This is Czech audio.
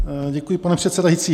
Děkuji, pane předsedající.